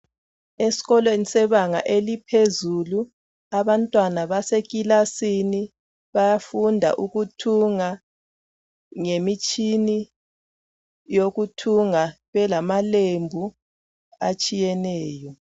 Esikolweni sebanga eliphezulu abantwana basekilasini bayafunda ukuthunga ngemitshini yokuthunga belamalembu atshiyeneyo